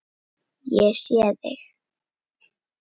Ég sé þig.